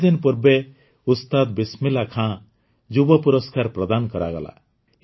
କିଛି ଦିନ ପୂର୍ବେ ଉସ୍ତାଦ ବିସମିଲ୍ଲାହ୍ ଖାନ୍ ଯୁବ ପୁରସ୍କାର ପ୍ରଦାନ କରାଗଲା